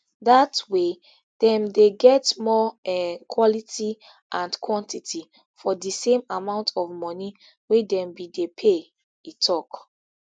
dat way dem dey get more um quality and quantity for di same amount of money wey dem bin dey pay e tok